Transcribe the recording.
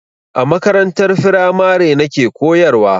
A makarantar firamare nake koyarwa.